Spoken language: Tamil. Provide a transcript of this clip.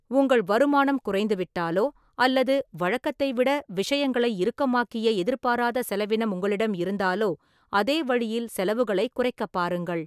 உங்கள் வருமானம் குறைந்துவிட்டாலோ அல்லது வழக்கத்தை விட விஷயங்களை இறுக்கமாக்கிய எதிர்பாராத செலவினம் உங்களிடம் இருந்தாலோ, அதே வழியில் செலவுகளைக் குறைக்கப் பாருங்கள்.